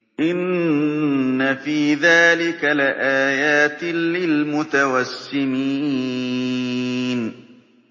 إِنَّ فِي ذَٰلِكَ لَآيَاتٍ لِّلْمُتَوَسِّمِينَ